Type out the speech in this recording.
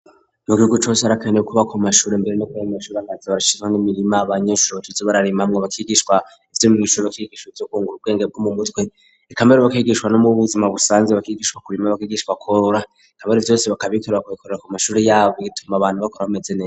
Mu gihugu cose arakaneye kuba ku mashure mbere no kubemeshuri ankazi barashizwa n'imirima banyeshuri bacizi bararimamwe bakigishwa ibyo mwishuri bakigishwa ibyokungur ubwenge bwo mu mutwe ikamere bakigishwa no mubbuzima busanze bakigishwa ku birima bakigishwa koura ikamere vyose bakaikorera kubikorera ku mashuri yabo biituma abantu bakora bamezene.